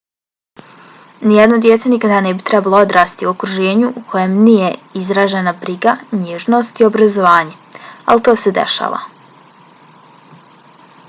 nijedno dijete nikada ne bi trebalo odrastati u okruženju u kojem nije izražena briga nježnost i obrazovanje ali to se dešava